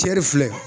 Cɛ de filɛ